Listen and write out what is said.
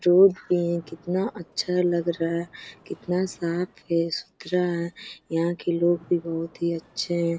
Road भी है। कितना अच्छा लग रहा है। कितना साफ है सुथरा है। यहाँ के लोग भी बहुत ही अच्छे हैं।